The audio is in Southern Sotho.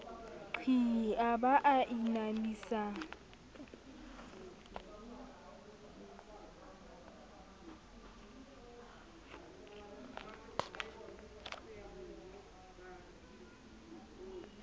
qhii a ba a inamisa